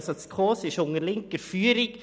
Also steht die SKOS unter linker Führung.